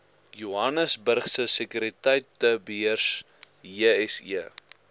johannesburgse sekuriteitebeurs jse